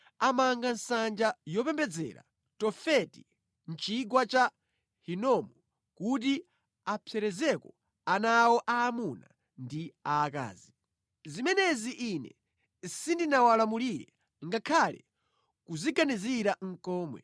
Amanga nsanja yopembedzera Tofeti mʼChigwa cha Hinomu kuti apserezereko ana awo aamuna ndi aakazi. Zimenezi Ine sindinawalamulire ngakhale kuziganizira nʼkomwe.